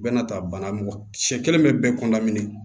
Bɛɛ n'a ta bana mɔgɔ sɛ kelen bɛ kɔndami